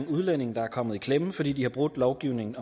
udlændinge der er kommet i klemme fordi de har brudt lovgivningen